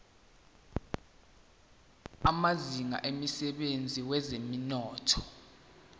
amazinga emsebenzini wezomnotho